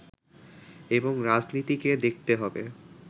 এবং রাজনীতিকে দেখতে হবে